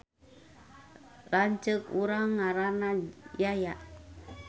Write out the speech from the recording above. Lanceuk urang ngaranna Yaya